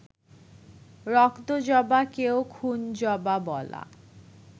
‘রক্তজবা’কেও ‘খুনজবা’ বলা